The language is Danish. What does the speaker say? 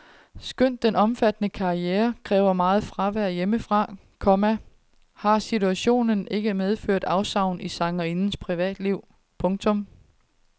Skønt den omfattende karriere kræver meget fravær hjemmefra, komma har situationen ikke medført afsavn i sangerindens privatliv. punktum